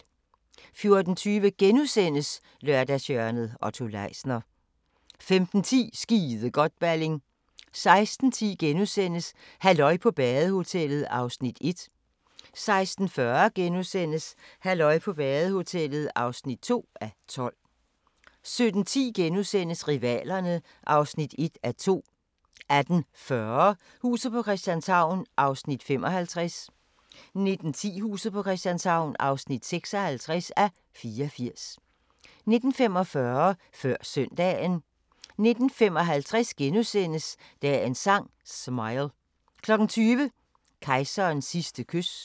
14:20: Lørdagshjørnet - Otto Leisner * 15:10: Skide godt, Balling 16:10: Halløj på badehotellet (1:12)* 16:40: Halløj på badehotellet (2:12)* 17:10: Rivalerne (1:2)* 18:40: Huset på Christianshavn (55:84) 19:10: Huset på Christianshavn (56:84) 19:45: Før Søndagen 19:55: Dagens Sang: Smile * 20:00: Kejserens sidste kys